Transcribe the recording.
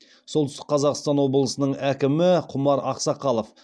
солтүстік қазақстан облысының әкімі құмар ақсақалов